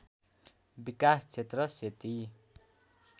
विकास क्षेत्र सेती